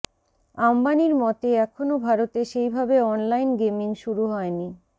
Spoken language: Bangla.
আম্বানির মতে এখনও ভারতে সেইভাবে অনলাইন গেমিং শুরু হয়নি